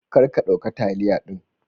kar ka dauka taliya din.